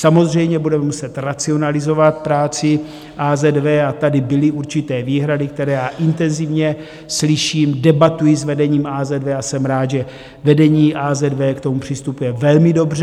Samozřejmě budeme muset racionalizovat práci AZV a tady byly určité výhrady, které já intenzivně slyším, debatuji s vedením AZV a jsem rád, že vedení AZV k tomu přistupuje velmi dobře.